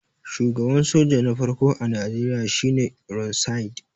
shugaban soja na farko a Najeriya shi ne ironside